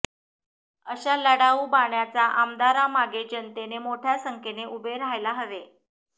अशा लढाऊ बाण्याच्या आमदारामागे जनतेने मोठय़ा संख्येने उभे राहायला हवे